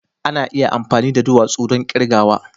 Ana iya amfani da duwatsu don kirgawa